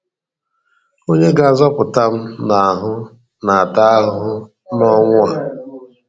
Onye ga-azọpụta m n’ahụ na-ata ahụhụ n’ọnwụ a